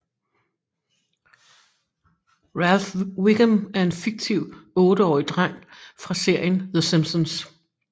Ralph Wiggum er en fiktiv otteårig dreng fra serien The Simpsons